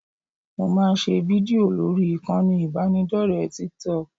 Mo máa ń ṣe fídìò lórí ìkànnì ìbánidọ́rẹ̀ẹ́ Tiktok